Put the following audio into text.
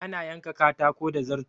Ana yanka katako da zarto.